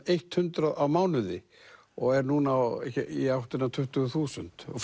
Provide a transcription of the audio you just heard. hundrað á mánuði og er núna í áttina að tuttugu þúsund og